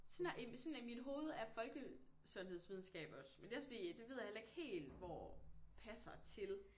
Sådan er sådan i mit hovedet er folkesundhedsvidenskab også men det er også fordi det ved jeg heller ikke helt hvor passer til